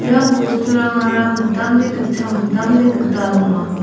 ia bosturangara mitamde gitcham mitamde gital ong·a.